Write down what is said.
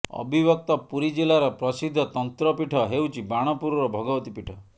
ଅବିଭକ୍ତ ପୁରୀ ଜିଲାର ପ୍ରସିଦ୍ଧ ତନ୍ତ୍ରପୀଠ ହେଉଛି ବାଣପୁରର ଭଗବତୀ ପୀଠ